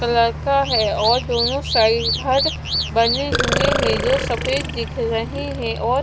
लड़का है और दोनों साइड घर बने हुए हैं जो सफेद दिख रहे हैं और--